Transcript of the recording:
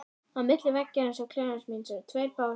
Á milli veggjarins og klefans míns eru tveir básar.